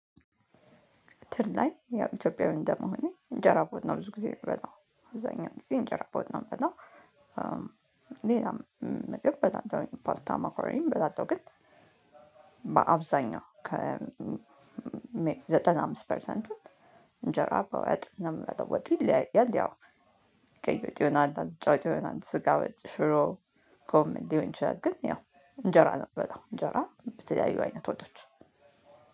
ትር ላይ ኢትዮጵያዊ እንደ መሆኔ እንጀራ በወጥ ነው ብዙ ጊዜ የምበላው አብዛኛውን ጊዜ እንጀራ በወጥ ነው የምበላው። ሌላም ምግብ በላለሁኝ ፓስታ ማካሮኒም በላለሁ ግን። ከ ዘጠና አምስት ፐርሰንቱን። እንጀራ በወጥ ነው የምበላው ወጡ ይለያያል ያው ቀይ ወጥ ይሆናል አልጫ ወጥ ይሆናል ስጋ ወጥ ሽሮ። ጎመን ሊሆን ይችላል ግን ያው እንጀራ ነው የምበላው እንጀራ በተለያዩ አይነት ወጦች።